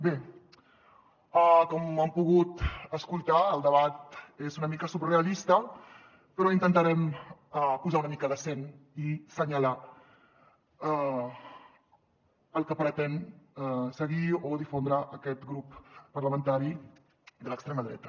bé com han pogut escoltar el debat és una mica surrealista però intentarem posar una mica de seny i assenyalar el que pretén seguir o difondre aquest grup parlamentari de l’extrema dreta